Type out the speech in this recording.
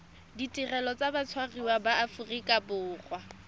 ditirelo tsa batshwariwa ba aforika